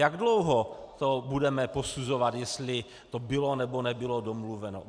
Jak dlouho to budeme posuzovat, jestli to bylo, nebo nebylo domluveno?